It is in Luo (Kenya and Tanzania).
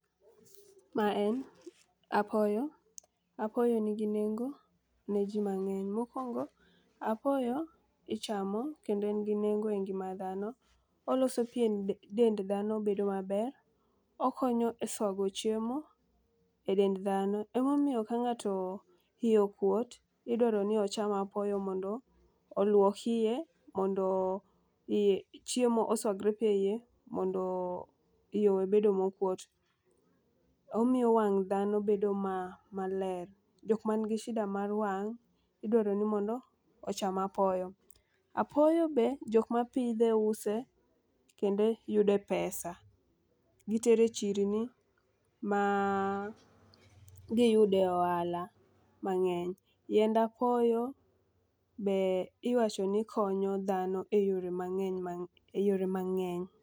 Ma en apoyo, apoyo nigi nengo ne jii mang'eny. Mokwongo apoyo ichamo kendo en gi nengo e ngima dhano. Oloso pien dend dhano bedo maber okonyo e swago chiemo e dend dhano. Emomiyo ka ngato iye okuot idwaro ni ocham apoyo mondo oluok iye mondo iye chiemo oswagre eiye mondo iye owe bedo mokuot. Omiyo wang' dhano bedo ma maler jok man gi sida mar wang' idwaro mondo ocham apoyo. Apoyo be jok mapidhe use kendo yude pesa . Gitere chirni ma giyude ohala mang'eny, yiend apoyo be iwacho ni konyo dhano e yore mang'eny ma e yore mang'eny.